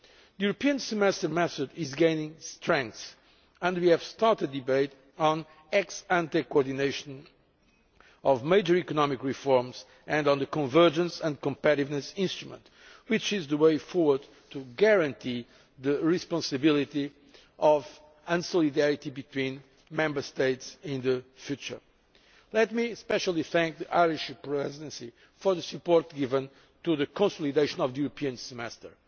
The European Semester method is gaining strength and we have started a debate on ex ante coordination of major economic reforms and on the convergence and competitiveness instrument, which is the way forward to guaranteeing the responsibility of and solidarity between Member States in the future. Let me especially thank the Irish Presidency for the support given to the consolidation of the European Semester.